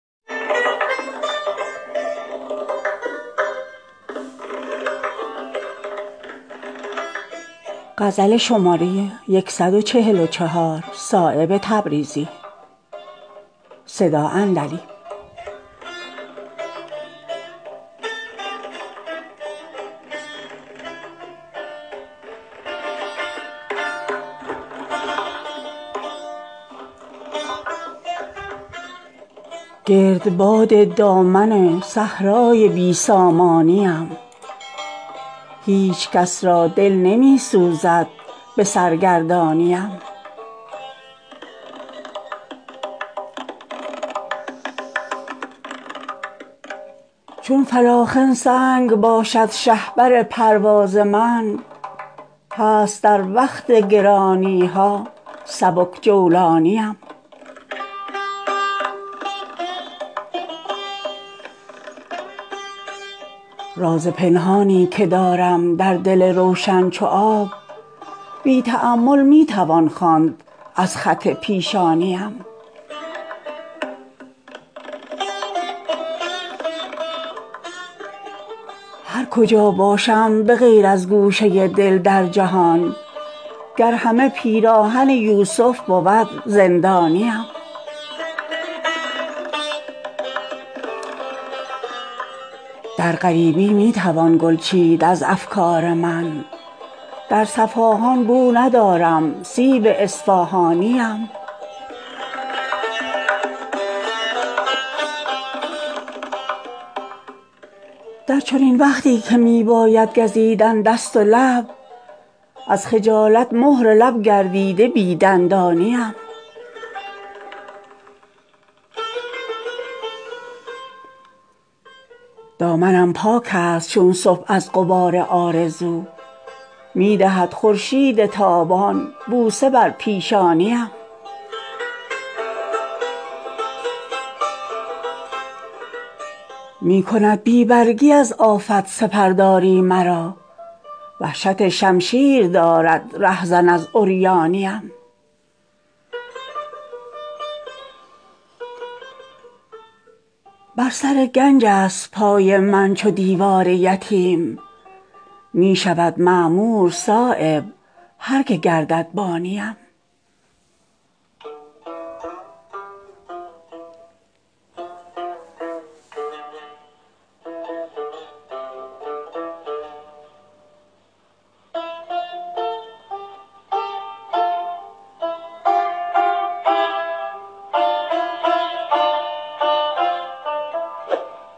گرد باد دامن صحرای بی سامانیم هیچ کس را دل نمی سوزد به سرگردانیم چون فلاخن سنگ باشد شهپر پرواز من هست در وقت گرانیها سبک جولانیم گرچه چیزی در بساطم نیست غیر از درد و داغ صبح را خون از شفق در دل کند خندانیم راز پنهانی که دارم در دل روشن چو آب بی تامل می توان خواند از خط پیشانیم کرده ام آب حیات خود سبیل تیغها دشمن خونخوار را از دوستان جانیم گرچه اینجا تیره بختی پرده حالم شده است مجلس روحانیان را باده ریحانیم می توان گوی سعادت یافت از اقبال من هست محراب دعاها قامت چوگانیم خون خود را می خورم چون زخم از جوش مگس گرپری داخل شود در خلوت روحانیم هر کجا باشم بغیر از گوشه دل در جهان گر همه پیراهن یوسف بود زندانیم برنمی دارم عمارت جغد وحشت دیده ام بیت معمورست در مد نظر ویرانیم در غریبی می توان گل چید از افکار من در صفاهان بو ندارم سیب اصفاهانیم در چنین وقتی که می باید گزیدن دست و لب از خجالت مهر لب گردیده بی دندانیم دامنم پاک است چون صبح از غبار آرزو می دهد خورشید تابان بوسه بر پیشانیم حسن اگر بر پیچ و تاب خط چنین خواهد فزود می کند دیوانه آخر این خط دیوانیم می کند بی برگی از آفت سپرداری مرا وحشت شمشیر دارد رهزن از عریانیم بر سر گنج است پای من چو دیوار یتیم می شود معمور صایب هر که گردد بانیم